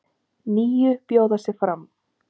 Níu bjóða sig fram.